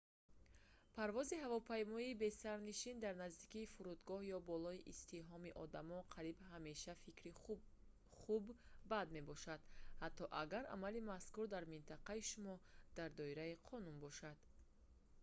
парвози ҳавопаймои бесарнишин дар наздикии фурудгоҳ ё болои издиҳоми одамон қариб ҳамеша фикри хуб бад мебошад ҳатто агар амали мазкур дар минтақаи шумо дар доираи қонун бошад